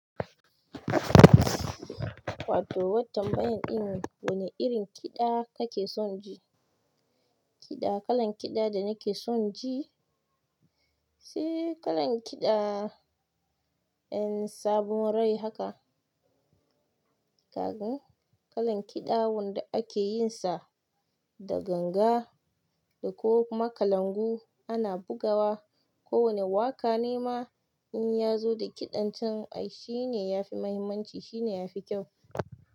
Wato wa tambayan in wane irin kiɗa kake son ji? Kiɗa, kalan kiɗa da nake son ji, sai kalan kiɗa en sabon rai haka. Kalan kiɗa wanda ake yin sa da ganga dako kuma kalangu ana bugawa. Kowane waƙa nema inyazo da ƙidan can ai shine yafi mahimmanci shine yafi kyau.